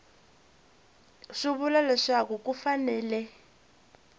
swi vula leswaku ku fanele